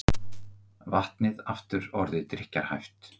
Vatnið aftur orðið drykkjarhæft